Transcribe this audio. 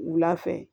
Wula fɛ